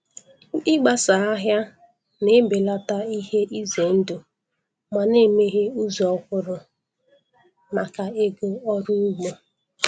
Ịgbasa ahịa na-ebelata ihe ize ndụ ma na-emeghe ụzọ ọhụrụ maka ego ọrụ ugbo.